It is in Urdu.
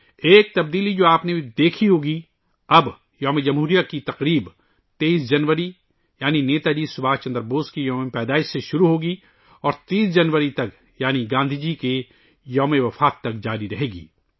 ایک تبدیلی ، جو آپ نے دیکھی ہوگی، اب یوم ِ جمہوریہ کی تقریبات 23 جنوری یعنی نیتا جی سبھاش چندر بوس کے یوم ِپیدائش سے شروع ہوں گی اور 30 جنوری تک یعنی گاندھی جی کی برسی تک جاری رہیں گی